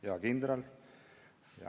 Hea kindral!